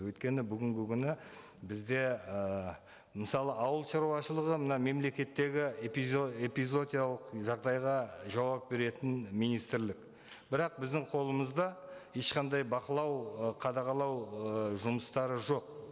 өйткені бүгінгі күні бізде ыыы мысалы ауыл шаруашылығы мына мемлекеттегі эпизоотиялық жағдайға жауап беретін министрлік бірақ біздің қолымызда ешқандай бақылау ы қадағалау ыыы жұмыстары жоқ